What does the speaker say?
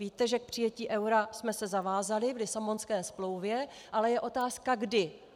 Víte, že k přijetí eura jsme se zavázali v Lisabonské smlouvě, ale je otázka kdy.